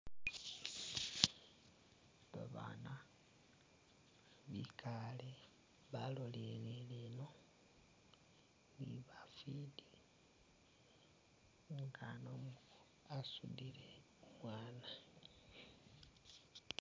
Babana bikale baloleleleno nibafiti umukhana wasutile umwana